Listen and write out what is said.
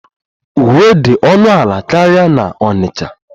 Uwe dị ọnụ ala karịa na Onitcha